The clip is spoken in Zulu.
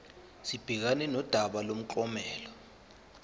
sibhekane nodaba lomklomelo